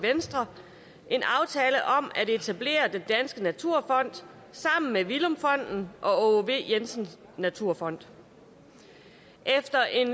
venstre en aftale om at etablere den danske naturfond sammen med villum fonden og v jensen naturfond efter en